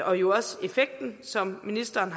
og jo også effekten som ministeren